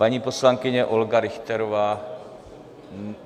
Paní poslankyně Olga Richterová.